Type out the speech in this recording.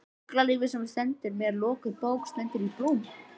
Fuglalífið sem er mér lokuð bók stendur í blóma.